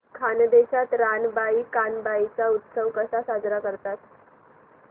खानदेशात रानबाई कानबाई चा उत्सव कसा साजरा करतात